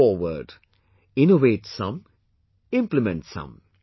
Step forward innovate some; implement some